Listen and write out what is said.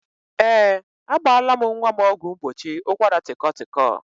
Ee, agbaala m nwa m ọgwụ mgbochi ụkwaratịkọtịkọ